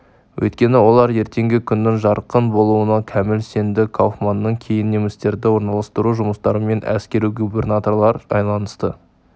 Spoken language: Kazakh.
өйткені олар ертеңгі күннің жарқын болуына кәміл сенді кауфманнан кейін немістерді орналастыру жұмыстарымен әскери губернаторлар айналысты